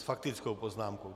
S faktickou poznámkou.